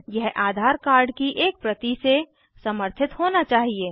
यह आधार कार्ड की एक प्रति से समर्थित होना चाहिए